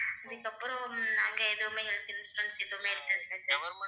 இதுக்கு அப்புறம் நாங்க எதுவுமே health insurance எதுவுமே